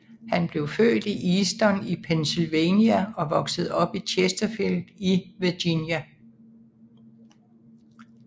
Han blev født i Easton i Pennsylvania og voksede op i Chersterfield i Virginia